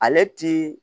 Ale ti